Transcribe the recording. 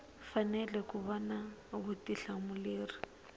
fanele ku va na vutihlamuleri